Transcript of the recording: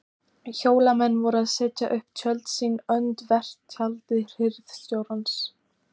Hólamenn voru að setja upp tjöld sín öndvert tjaldi hirðstjórans.